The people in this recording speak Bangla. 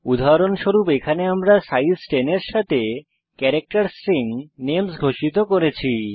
উদাহরণস্বরূপ এখানে আমরা সাইজ 10 এর সাথে ক্যারাক্টের স্ট্রিং নেমস ঘোষিত করেছি